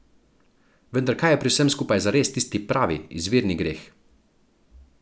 Vendar kaj je pri vsem skupaj zares tisti pravi, izvirni greh.